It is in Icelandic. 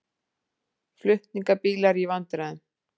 Flutningabílar í vandræðum